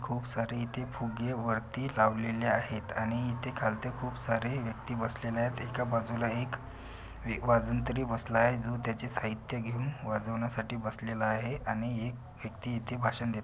खूप सारे इथे फुगे वरती लावलेले आहेत आणि इथे खालत्या खूप सारे व्यक्ति बसलेले आहेत एका बाजूला एक वाजंत्री बसलाय जो त्याची साहित्य घेऊन वाजवण्या साठी बसलेला आहे आणि एक व्यक्ति इथे भाषण देत--